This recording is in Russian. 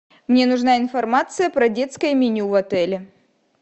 мне нужна информация про детское меню в отеле